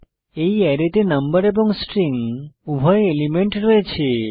এই অ্যারেতে নম্বর এবং স্ট্রিং উভয় এলিমেন্ট রয়েছে